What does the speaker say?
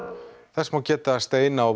þess má geta að steina og